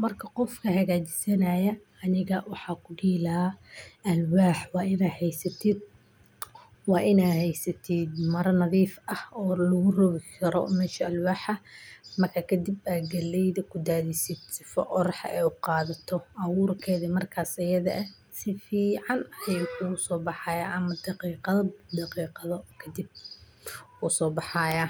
marka qofka hagajisanayo aniga waxan kudihi lahaa waa alwax inaa hagajisatid waa heysatid mara nadif ah oo logu lagi kara mesha alwaxa , kadib aa galleyda kudadhisid sifo orax ay u qadato aburkedi markas tayada ah si fican bu uso baxaya daqiqado kadib wuu so baxaya camal daqiqado kadib wuu so baxaya.